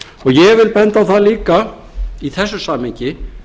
ég vil benda á það líka í þessu samhengi